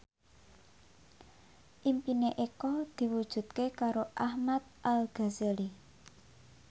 impine Eko diwujudke karo Ahmad Al Ghazali